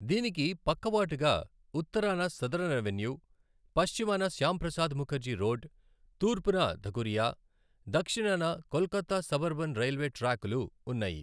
దీనికి పక్కవాటుగా ఉత్తరాన సదరన్ అవెన్యూ, పశ్చిమాన శ్యామప్రసాద్ ముఖర్జీ రోడ్, తూర్పున ధకురియా, దక్షిణాన కోల్కతా సబర్బన్ రైల్వే ట్రాక్లు ఉన్నాయి.